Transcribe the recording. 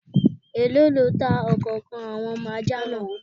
Èló lọ tá ọ̀kànkan àwọn ọmọ ajá náà?